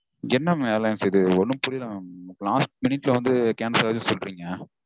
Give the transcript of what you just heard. என்ன mam airlines இது? ஒன்னும் புரியல mam last minute -ல வந்து cancel ஆயிருச்சுனு சொல்றீங்க